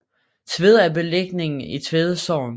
Tvede er beliggende i Tvede Sogn